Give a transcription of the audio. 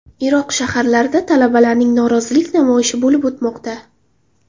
Iroq shaharlarida talabalarning norozilik namoyishi bo‘lib o‘tmoqda.